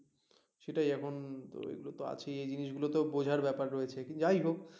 সেটাই এখন তো এইগুলো আছেই এই জিনিসগুলো তো বোঝার ব্যাপার রয়েছে যাইহোক